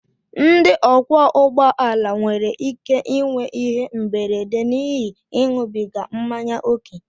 ndị ọkwọ ụgbọala nwere ike inwe ihe mberede n'ihi ịṅụbiga mmanya ókè